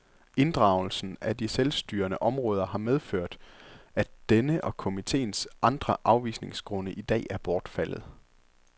Inddragelsen af de selvstyrende områder har medført, at denne og komiteens andre afvisningsgrunde i dag er bortfaldet.